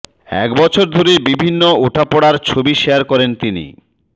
এক বছর ধরে বিভিন্ন ওঠাপড়ার ছবি শেয়ার করেন তিনি